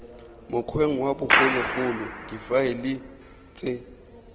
mokgweng wa bogologolo difaele ts